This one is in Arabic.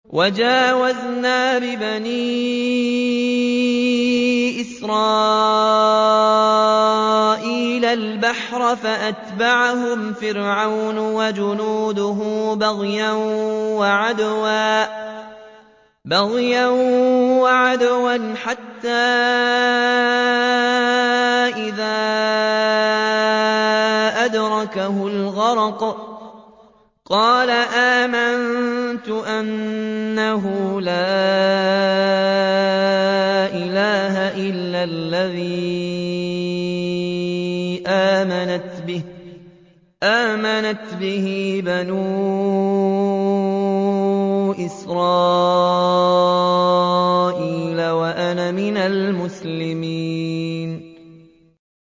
۞ وَجَاوَزْنَا بِبَنِي إِسْرَائِيلَ الْبَحْرَ فَأَتْبَعَهُمْ فِرْعَوْنُ وَجُنُودُهُ بَغْيًا وَعَدْوًا ۖ حَتَّىٰ إِذَا أَدْرَكَهُ الْغَرَقُ قَالَ آمَنتُ أَنَّهُ لَا إِلَٰهَ إِلَّا الَّذِي آمَنَتْ بِهِ بَنُو إِسْرَائِيلَ وَأَنَا مِنَ الْمُسْلِمِينَ